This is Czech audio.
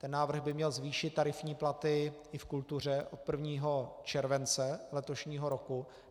Ten návrh by měl zvýšit tarifní platy i v kultuře od 1. července letošního roku.